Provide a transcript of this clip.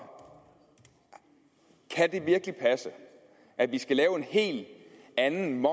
kan det virkelig passe at vi skal lave en helt anden